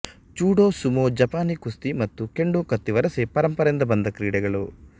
judo sumo ಜಪಾನೀ ಕುಸ್ತಿ ಮತ್ತು ಕೆಂಡೋ ಕತ್ತಿವರಸೆ ಪರಂಪರೆಯಿಂದ ಬಂದ ಕ್ರೀಡೆಗಳು